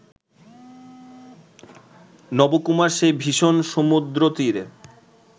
নবকুমার সেই ভীষণ সমুদ্রতীরে